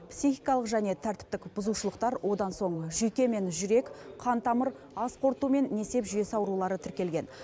психикалық және тәртіптік бұзушылықтар одан соң жүйке мен жүрек қан тамыр ас қорыту мен несеп жүйесі аурулары тіркелген